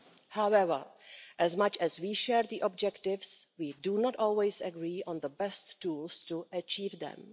However, as much as we share the objectives, we do not always agree on the best tools to achieve them.